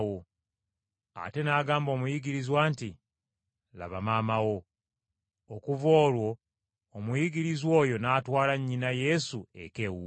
Ate n’agamba omuyigirizwa nti, “Laba maama wo.” Okuva olwo omuyigirizwa oyo n’atwala nnyina Yesu eka ewuwe.